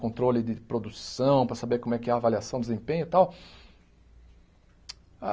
Controle de produção, para saber como é que é a avaliação, desempenho e tal.